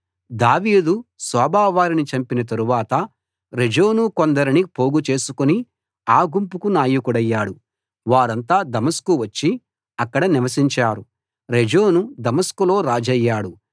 దావీదు సోబా వారిని చంపిన తరువాత రెజోను కొందరిని పోగు చేసుకుని ఆ గుంపుకు నాయకుడయ్యాడు వారంతా దమస్కు వచ్చి అక్కడ నివసించారు రెజోను దమస్కులో రాజయ్యాడు